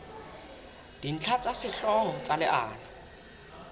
dintlha tsa sehlooho tsa leano